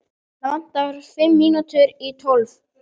Hana vantar fimm mínútur í tólf